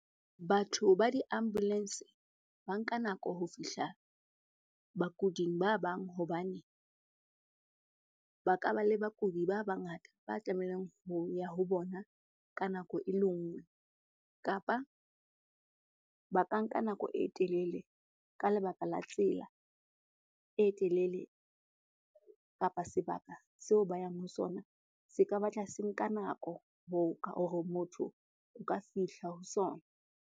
Batho ba di-ambulance-e ba nka nako ho fihla bakuding ba bang hobane ba ka ba le bakudi ba bangata ba tlamehang ho ya ho bona ka nako e le ngwe. Kapa ba ka nka nako e telele ka lebaka la tsela e telele kapa sebaka seo ba yang ho sona se ka batla se nka nako hore motho o ka fihla ho sona.